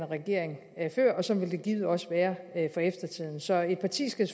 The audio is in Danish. regering før og sådan vil det givet også være for eftertiden så et parti skal